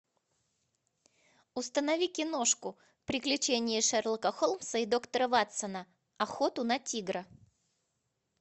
установи киношку приключения шерлока холмса и доктора ватсона охоту на тигра